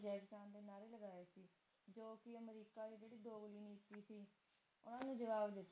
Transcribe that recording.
ਕਿ ਜਵਾਬ ਦਿੱਤਾ